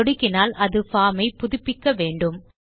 சொடுக்கினால் அது பார்ம் ஐ புதுப்பிக்க வேண்டும்